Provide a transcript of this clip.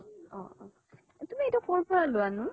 অ অ । তুমিএইতো কৰ পৰা লোৱানো?